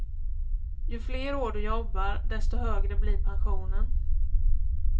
Ju fler år du jobbar, desto högre blir pensionen.